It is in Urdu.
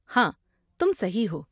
ہاں، تم صحیح ہو۔